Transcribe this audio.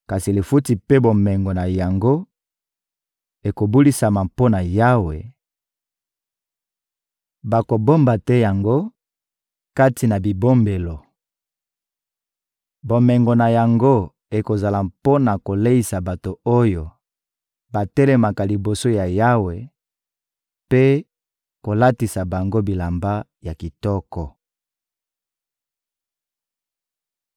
Kasi lifuti mpe bomengo na yango ekobulisama mpo na Yawe; bakobomba te yango kati na bibombelo. Bomengo na yango ekozala mpo na koleisa bato oyo batelemaka liboso ya Yawe mpe kolatisa bango bilamba ya kitoko.